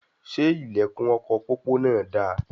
Ṣe ilẹkùn ọkọ pópó náà dà?